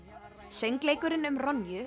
söngleikurinn um